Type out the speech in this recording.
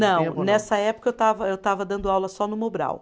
Não, nessa época eu estava, eu estava dando aula só no Mobral.